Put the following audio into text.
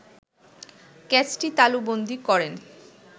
ক্যাচটি তালুবন্দী করেন